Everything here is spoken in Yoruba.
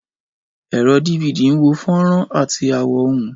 Ẹ̀rọ DVD ń wo fọ́nrán àti àwo ohùn.